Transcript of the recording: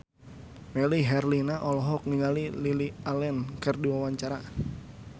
Melly Herlina olohok ningali Lily Allen keur diwawancara